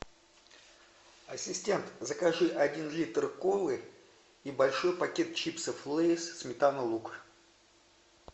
ассистент закажи один литр колы и большой пакет чипсов лейс сметана лук